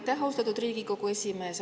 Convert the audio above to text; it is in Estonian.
Aitäh, austatud Riigikogu esimees!